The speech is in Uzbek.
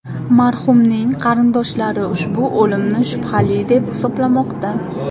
Marhumning qarindoshlari ushbu o‘limni shubhali deb hisoblamoqda.